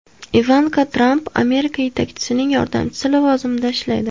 Ivanka Tramp Amerika yetakchisining yordamchisi lavozimida ishlaydi.